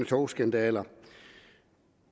togskandaler